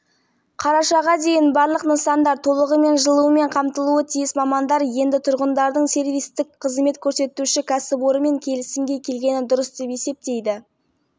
сіздердің әлеуметтік желідегі парақшаңызға байланысты алда қандай жоспарларыңыз бар пердебай сәбитов қуат жылу орталығы бас инженері